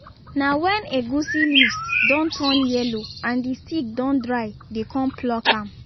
na when egusi leaves don turn yellow and the stick don dry dey con pluck am